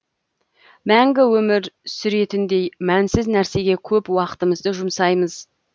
мәңгі өмір сүретіндей мәнсіз нәрсеге көп уақытымызды жұмсаймыз